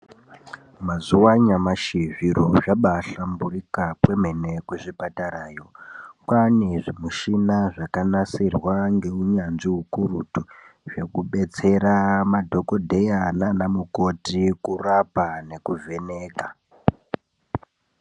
Mazuwa anyamashi zviro zvabaahlamburuka kwemene kuzvipatarayo .Kwaane zvimushina zvakanasirwa neunyanzvi ukurutu zvekubetsera madhokodheya naanamukoti kurapa nekuvheneka .